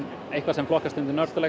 eitthvað sem flokkast undir